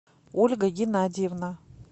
ольга геннадьевна